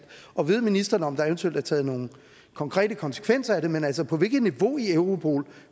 og ved ministeren om der eventuelt er taget nogle konkrete konsekvenser af det men altså på hvilket niveau i europol